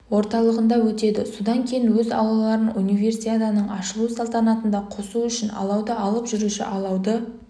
орталығында өтеді содан кейін өз алауларын универсиаданың ашылу салтанатында қосу үшін алауды алып жүруші алауды